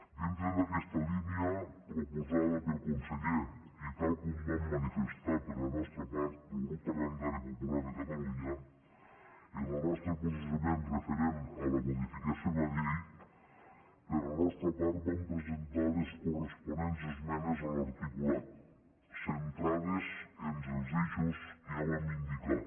dintre d’aquesta línia proposada pel conseller i tal com vam manifestar per la nostra part com a grup parlamentari popular de catalunya en el nostre posicionament referent a la modificació de la llei per la nostra part vam presentar les corresponents esmenes a l’articulat centrades en els eixos que ja vam indicar